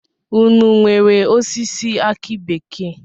Ụnụ nwèrè osisi aki bekee?